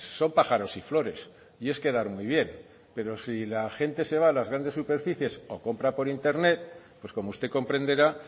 son pájaros y flores y es quedar muy bien pero si la gente se va a las grandes superficies o compra por internet pues como usted comprenderá